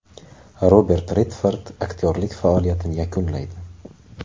Robert Redford aktyorlik faoliyatini yakunlaydi.